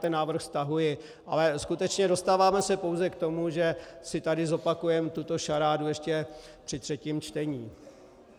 ten návrh stahuji, ale skutečně dostáváme se pouze k tomu, že si tady zopakujeme tuto šarádu ještě při třetím čtení.